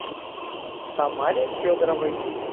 тамаре федоровой